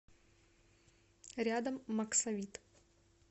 рядом максавит